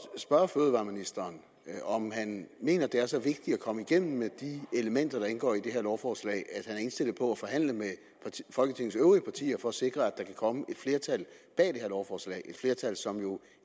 spørge fødevareministeren om han mener at det er så vigtigt at komme igennem med de elementer der indgår i det her lovforslag at er indstillet på at forhandle med folketingets øvrige partier for at sikre at der kan komme et flertal bag lovforslaget et flertal som jo